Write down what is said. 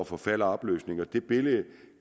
forfald og opløsning og det billede